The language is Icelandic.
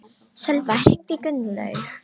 Sölva, hringdu í Gunnlaug.